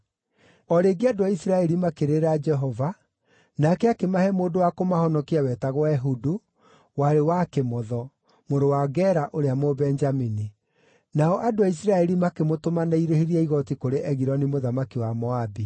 O rĩngĩ andũ a Isiraeli makĩrĩrĩra Jehova, nake akĩmahe mũndũ wa kũmahonokia wetagwo Ehudu, warĩ wa kĩmotho; mũrũ wa Gera ũrĩa Mũbenjamini. Nao andũ a Isiraeli makĩmũtũma na irĩhi rĩa igooti kũrĩ Egiloni mũthamaki wa Moabi.